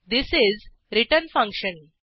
this is return function